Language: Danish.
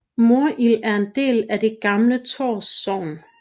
Morild er en del af det gamle Tårs Sogn